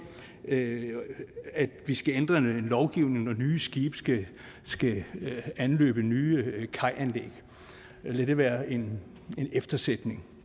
at vi skal ændre en lovgivning når nye skibe skibe skal anløbe nye kajanlæg lad det være en eftersætning